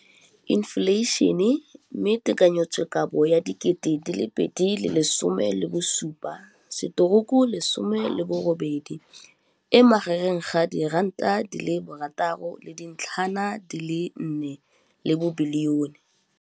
Infleišene, mme tekanyetsokabo ya 2017, 18, e magareng ga R6.4 bilione.